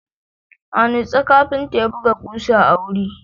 A nutse, kafinta ya buga ƙusa a wuri.